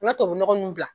I bɛ tubabu nɔgɔ nun bila